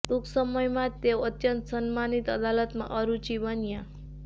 ટૂંક સમયમાં જ તેઓ અત્યંત સન્માનિત અદાલતમાંના અરુચિ બન્યા